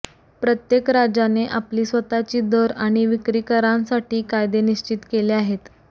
प्रत्येक राज्याने आपली स्वतःची दर आणि विक्री करांसाठी कायदे निश्चित केले आहेत